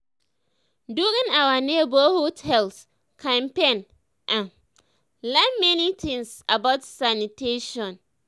during our neighborhood health campaign i um learn many things about sanitation.